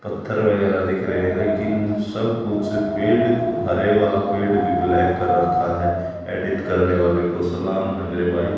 पत्थर वगैरह दिख रहे हैं लेकिन सब कुछ पेड़ क हरे वाला पेड़ भी ब्लैक कर रखा है एडिट करने वाले को सलाम है मेरे भाई।